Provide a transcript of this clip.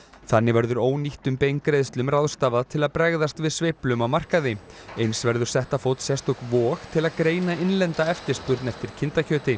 þannig verður ónýttum beingreiðslum ráðstafað til að bregðast við sveiflum á markaði eins verður sett á fót sérstök vog til að greina innlenda eftirspurn eftir kindakjöti